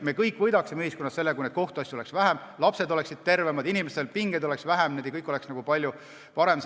Me kõik võidaks ühiskonnas, kui neid kohtuasju oleks vähem, lapsed oleksid tervemad, inimestel oleks pingeid vähem, kõik oleks palju parem.